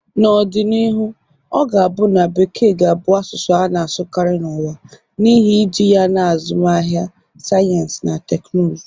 N'ọdịnihu, ọ ga-abụ na Bekee ga-abụ asụsụ a na-asụkarị n'ụwa, n'ihi iji ya na azụmahịa, sayensị na teknụzụ